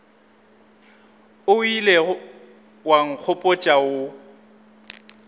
o ilego wa nkgopotša wo